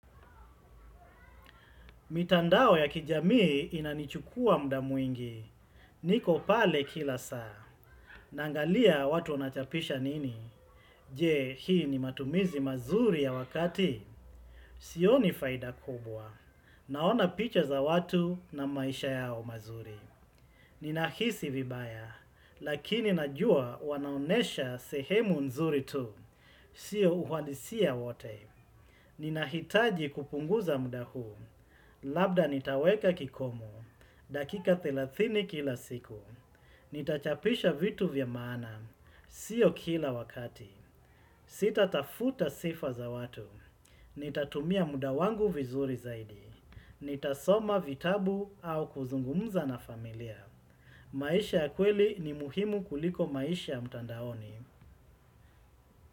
Mitandao ya kijamii inanichukua muda mwingi. Niko pale kila saa. Naangalia watu wanachapisha nini. Je, hii ni matumizi mazuri ya wakati. Sioni faida kubwa. Naona picha za watu na maisha yao mazuri. Ninahisi vibaya. Lakini najua wanaonesha sehemu nzuri tu. Siyo uhalisia wote. Ninahitaji kupunguza muda huu. Labda nitaweka kikomo. Dakika thelathini kila siku. Nitachapisha vitu vya maana. Siyo kila wakati. Sitatafuta sifa za watu. Nitatumia muda wangu vizuri zaidi. Nitasoma vitabu au kuzungumza na familia. Maisha ya kweli ni muhimu kuliko maisha ya mtandaoni.